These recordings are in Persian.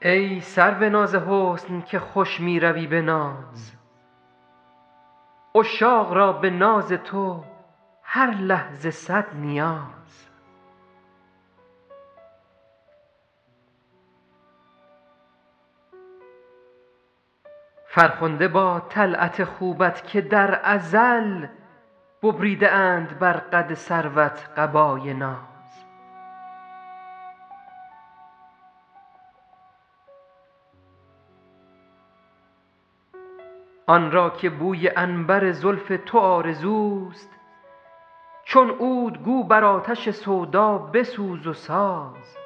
ای سرو ناز حسن که خوش می روی به ناز عشاق را به ناز تو هر لحظه صد نیاز فرخنده باد طلعت خوبت که در ازل ببریده اند بر قد سروت قبای ناز آن را که بوی عنبر زلف تو آرزوست چون عود گو بر آتش سودا بسوز و ساز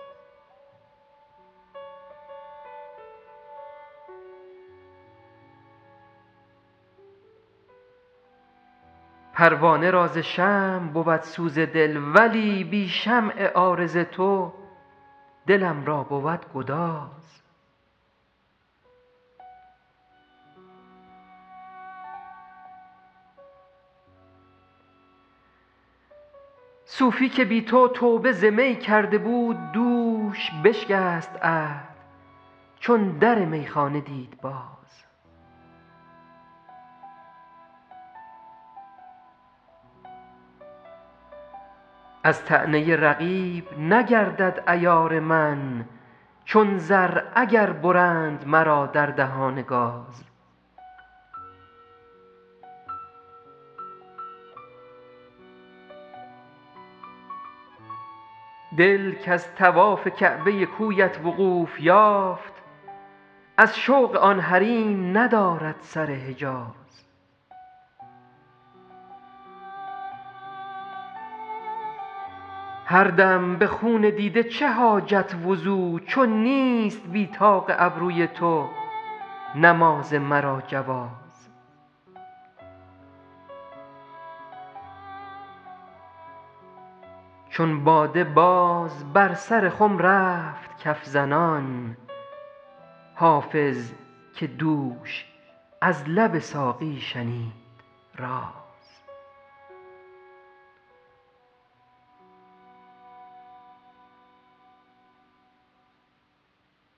پروانه را ز شمع بود سوز دل ولی بی شمع عارض تو دلم را بود گداز صوفی که بی تو توبه ز می کرده بود دوش بشکست عهد چون در میخانه دید باز از طعنه رقیب نگردد عیار من چون زر اگر برند مرا در دهان گاز دل کز طواف کعبه کویت وقوف یافت از شوق آن حریم ندارد سر حجاز هر دم به خون دیده چه حاجت وضو چو نیست بی طاق ابروی تو نماز مرا جواز چون باده باز بر سر خم رفت کف زنان حافظ که دوش از لب ساقی شنید راز